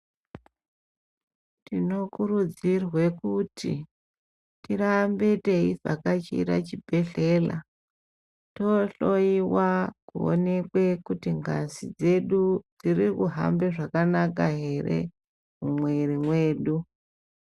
Tinokurudzirwe kuti tirambe teivhakachira chibhedhlela tohloiwa kuonekwe kuti ngazi dzedu dziri kuhambe zvakanaka ere mumwiri mwedu.